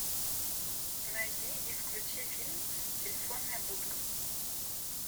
найди и включи фильм телефонная будка